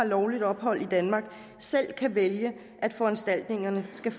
lovligt ophold i danmark selv kan vælge at foranstaltningerne skal